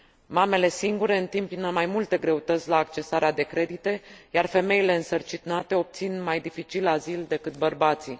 Mamele singure întâmpină mai multe greutăți la accesarea de credite, iar femeile însărcinate obțin mai dificil azil decât bărbații.